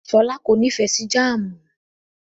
Ṣọlá kò nífẹ̀ẹ́ sí jáámù.